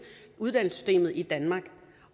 uddannelsessystemet i danmark